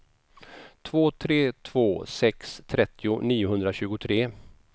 två tre två sex trettio niohundratjugotre